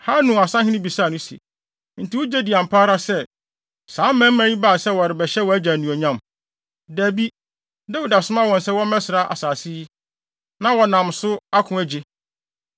Hanun asahene bisaa no se, “Enti wugye di ampa ara sɛ, saa mmarima yi baa sɛ wɔrebɛhyɛ wʼagya anuonyam? Dabi! Dawid asoma wɔn sɛ wɔmmɛsra asase yi, na wɔnam so ako agye.”